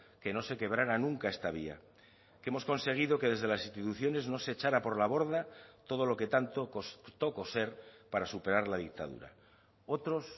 que no se quebrara nunca esta vía que hemos conseguido que desde las instituciones no se echara por la borda todo lo que tanto costó coser para superar la dictadura otros